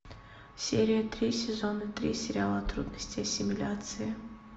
серия три сезона три сериала трудности ассимиляции